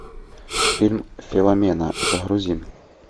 фильм филомена загрузи